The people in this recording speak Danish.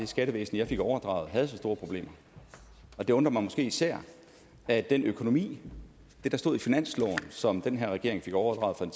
skattevæsen jeg fik overdraget havde så store problemer og det undrer mig måske især at det der stod i finansloven som den her regering fik overdraget fra